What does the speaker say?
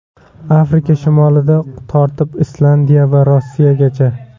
Afrika shimolidan tortib Islandiya va Rossiyagacha.